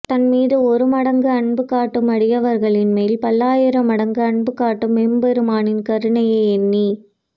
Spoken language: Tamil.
தன்மீது ஒருமடங்கு அன்புகாட்டும் அடியவர்களின் மேல் பல்லாயிரம் மடங்கு அன்புகாட்டும் எம்பெருமானின் கருணையை எண்ணி